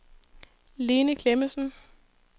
Lene Klemmensen